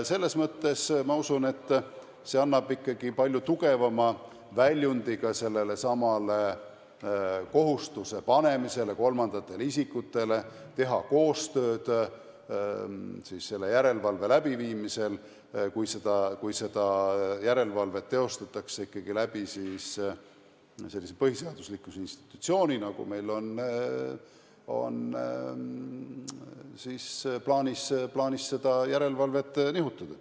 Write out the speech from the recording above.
Selles mõttes ma usun, et see annab ikkagi palju tugevama väljundi ka sellelesamale kohustuse panemisele kolmandatele isikutele, kes peaksid tegema koostööd, kui seda teostatakse ikkagi läbi sellise põhiseaduslikkuse institutsiooni, nii nagu meil on plaanis seda järelevalvet nihutada.